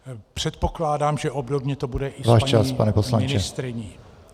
Předpokládám, že obdobně to bude i s paní ministryní.